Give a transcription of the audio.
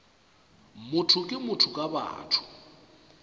motho ke motho ka batho